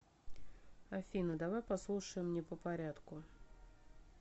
афина давай послушаем не попорядку